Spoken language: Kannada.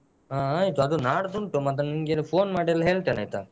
"ಹಾ ಆಯ್ತು ಅದು ನಾಡ್ದು ಉಂಟು ಮತ್ತೆ ನಿಮ್ಗೆ ಎಲ್ಲ phone ಮಾಡಿ ಎಲ್ಲ